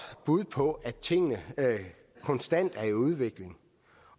bud på at tingene konstant er i udvikling